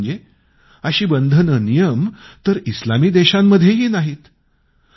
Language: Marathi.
विशेष म्हणजे अशी बंधने नियम तर इस्लामी देशांमध्येही नाहीत